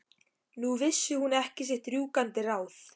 Nú vissi hún ekki sitt rjúkandi ráð.